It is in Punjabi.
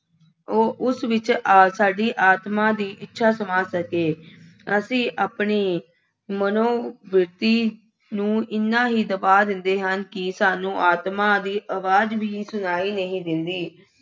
ਉਹ ਉਸ ਵਿੱਚ ਆ ਸਾਡੀ ਆਤਮ ਦੀ ਇੱਛਾ ਸਮਾ ਸਕੇ। ਅਸੀ ਆਪਣੇ ਮਨੋਵਿਰਤੀ ਨੂੰ ਐਨਾ ਹੀ ਦਬਾ ਦਿੰਦੇ ਹਾਂ ਕਿ ਸਾਨੂੰ ਆਤਮਾ ਦੀ ਆਵਾਜ਼ ਵੀ ਸੁਣਾਈ ਨਹੀਂ ਦਿੰਦੀ।